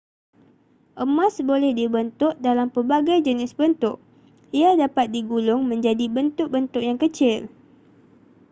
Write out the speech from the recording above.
emas boleh dibentuk dalam pelbagai jenis bentuk ia dapat digulung menjadi bentuk-bentuk yang kecil